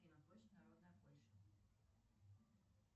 афина площадь народная польша